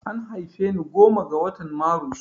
An haife ni goma ga watan marus